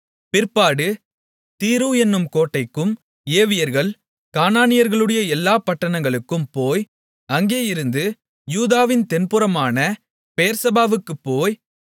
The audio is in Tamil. பிற்பாடு தீரு என்னும் கோட்டைக்கும் ஏவியர்கள் கானானியர்களுடைய எல்லா பட்டணங்களுக்கும் போய் அங்கேயிருந்து யூதாவின் தென்புறமான பெயெர்செபாவுக்குப் போய்